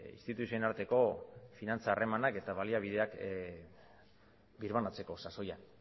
instituzioen arteko finantza harremanak eta baliabideak birbanatzeko sasoian